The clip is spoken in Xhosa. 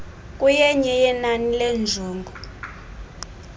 kuyenye yenani leenjongo